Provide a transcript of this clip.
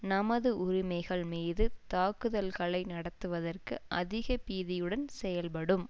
நமது உரிமைகள் மீது தாக்குதல்களை நடத்துவதற்கு அதிக பீதியுடன் செயல்படும்